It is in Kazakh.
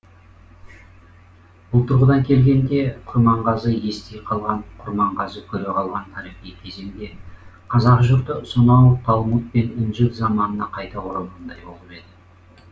бұл тұрғыдан келгенде құрманғазы ести қалған құрманғазы көре қалған тарихи кезеңде қазақ жұрты сонау талмуд пен інжіл заманына қайта оралғандай болып еді